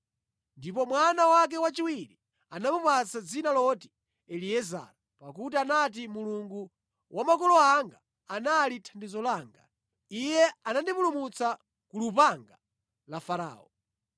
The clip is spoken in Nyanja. Ndipo mwana wake wachiwiri anamupatsa dzina loti Eliezara, pakuti anati, “Mulungu wa makolo anga anali thandizo langa. Iye anandipulumutsa ku lupanga la Farao.”